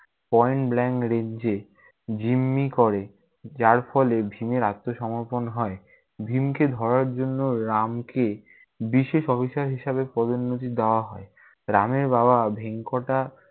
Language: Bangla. point blank range এ জিম্মি করে যার ফলে ভীমের আত্মসমর্পন হয়। ভীমকে ধরার জন্য রামকে বিশেষ officer হিসাবে পদোন্নতি দেয়া হয়। রামের বাবা ভেঙ্কটা~